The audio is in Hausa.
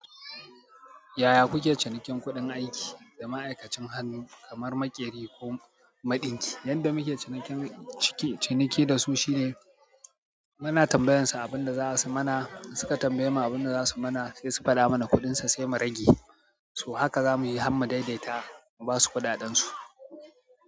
Yaya kuke cinikin kuɗin aiki da ma'aikacin hannu kamar maƙeri ko maɗinki? Yanda muke ciniki ciki ciniki dasu shine muna tambayansu abunda zasu mana sai su faɗa mana kuɗin sai mu rage. Haka zamuyi har mu daidaita mu basu kuɗaɗen su.